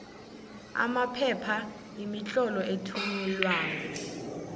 amaphepha imitlolo ethunyelweko